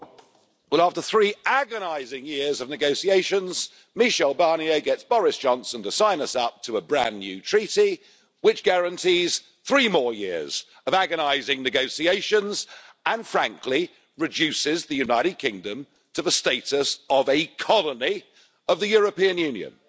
Madam President, well after three agonising years of negotiations, Michel Barnier gets Boris Johnson to sign us up to a brand new treaty, which guarantees three more years of agonising negotiations and frankly reduces the United Kingdom to the status of a colony of the European Union.